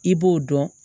I b'o dɔn